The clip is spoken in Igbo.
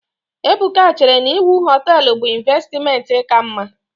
Ebuka chere na iwu hoteelu bụ ịnvestimenti ka mma.